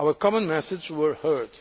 Our common messages were heard.